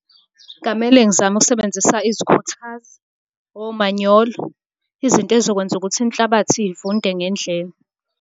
Ngamele ngizame ukusebenzisa izikhuthazi, omanyolo, izinto ey'zokwenza ukuthi inhlabathi ivunde ngendlela.